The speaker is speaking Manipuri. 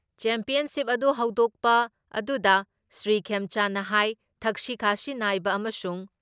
ꯆꯦꯝꯄꯤꯌꯟꯁꯤꯞ ꯑꯗꯨ ꯍꯧꯗꯣꯛꯄꯗꯨꯅ ꯁ꯭ꯔꯤ ꯈꯦꯝꯆꯥꯟꯅ ꯍꯥꯏ ꯊꯛꯁꯤ ꯈꯥꯁꯤ ꯅꯥꯏꯕ ꯑꯃꯁꯨꯡ